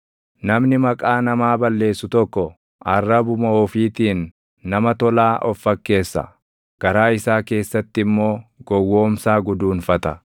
Namni maqaa namaa balleessu tokko // arrabuma ofiitiin nama tolaa of fakkeessa; garaa isaa keessatti immoo gowwoomsaa guduunfata.